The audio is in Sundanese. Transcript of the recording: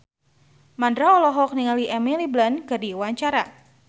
Mandra olohok ningali Emily Blunt keur diwawancara